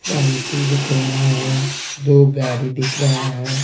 Cycle दिख रहा है दो गाड़ी दिख रहा है।